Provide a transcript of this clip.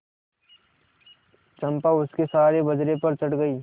चंपा उसके सहारे बजरे पर चढ़ गई